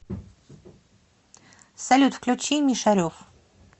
салют включи мишарев